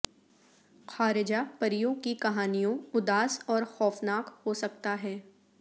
خارجہ پریوں کی کہانیوں اداس اور خوفناک ہو سکتا ہے